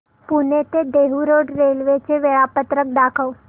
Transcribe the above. पुणे ते Dehu road railway चे वेळापत्रक दाखव